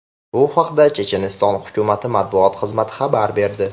Bu haqda Checheniston hukumati matbuot xizmati xabar berdi .